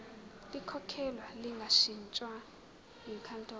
likhokhelwe lingashintshwa yinkantolo